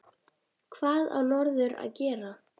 Hvað á norður að gera?